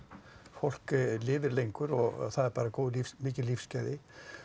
fólk lifir lengur og það eru bara mikil lífsgæði